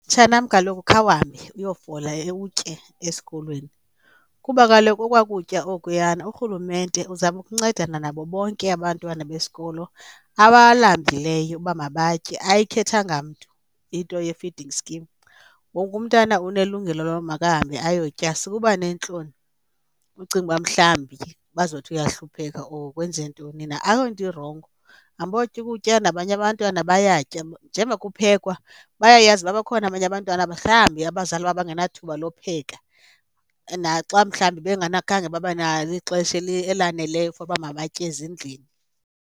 Mtshanam, kaloku khawuhambe uyofola utye esikolweni kuba kaloku okwa kutya okuyana urhulumente uzama ukuncedana nabo bonke abantwana besikolo abalambileyo uba mabatye ayikhethanga mntu into ye-feeding scheme. Wonke umntana unelungelo lokuba makahambe ayotya. Sukuba neentloni ucinge uba mhlawumbi bazothi uyahlupheka or kwenzeke ntoni na ayonto irongo. Hambotya ukutya nabanye abantwana bayatya, njemba kuphekwa bayayazi uba bakhona abanye abantwana mhlawumbi abazali babo bangenathuba lowupheka, naxa mhlawumbi khange babenalo ixesha elaneleyo for uba mabatye ezindlini.